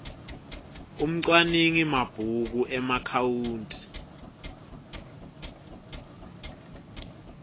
umcwaningi mabhuku emaakhawunti